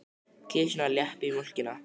Kisurnar lepja mjólkina.